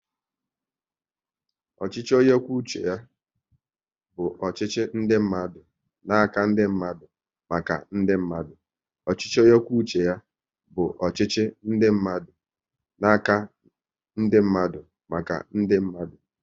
Ọchịchị onye kwuo uche ya bụ ọchịchị ndị mmadụ n'aka ndị mmadụ, maka ndị mmadụ